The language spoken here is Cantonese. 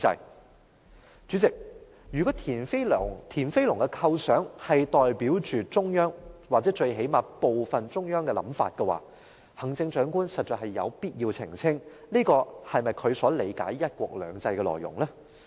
代理主席，如果田飛龍的構想代表中央，或最低限度是中央的部分想法，行政長官實在有必要澄清，這是否她所理解的"一國兩制"內容？